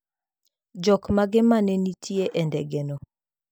Jokmage ma ne nitie e ndege no?